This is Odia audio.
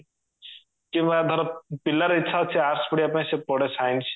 କିମ୍ବା ଧର ପିଲାର ଇଛା ଅଛି arts ପଢିବା ପାଇଁ ସେ ପଢେ science